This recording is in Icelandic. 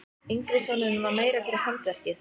Yngri sonurinn var meira fyrir handverkið.